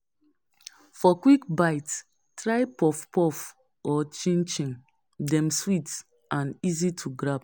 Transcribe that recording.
For quick bite, try puff puff or chin chin, dem sweet and easy to grab.